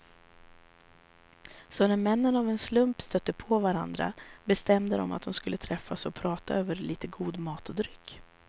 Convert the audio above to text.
Så när männen av en slump stötte på varandra bestämde de att de skulle träffas och prata över lite god mat och dryck.